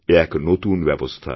এ এক নতুন ব্যবস্থা